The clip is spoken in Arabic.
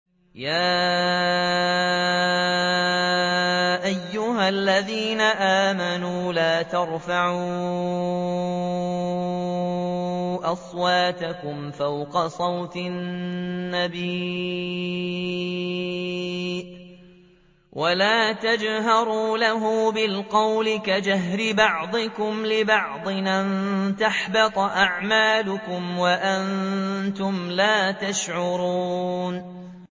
يَا أَيُّهَا الَّذِينَ آمَنُوا لَا تَرْفَعُوا أَصْوَاتَكُمْ فَوْقَ صَوْتِ النَّبِيِّ وَلَا تَجْهَرُوا لَهُ بِالْقَوْلِ كَجَهْرِ بَعْضِكُمْ لِبَعْضٍ أَن تَحْبَطَ أَعْمَالُكُمْ وَأَنتُمْ لَا تَشْعُرُونَ